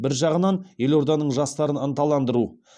бір жағынан елорданың жастарын ынталандыру